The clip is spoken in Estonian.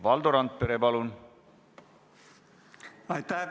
Valdo Randpere, palun!